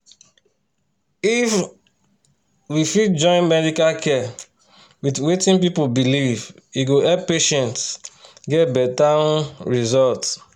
if um we fit join medical care with wetin people believe e go help patients get better um result.